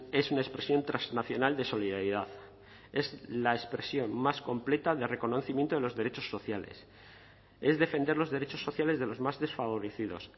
es una expresión transnacional de solidaridad es la expresión más completa de reconocimiento de los derechos sociales es defender los derechos sociales de los más desfavorecidos